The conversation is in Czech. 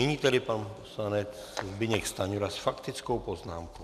Nyní tedy pan poslanec Zbyněk Stanjura s faktickou poznámkou.